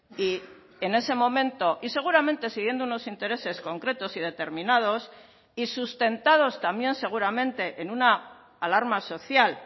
y en ese momento y seguramente siguiendo unos intereses concretos y determinados y sustentados también seguramente en una alarma social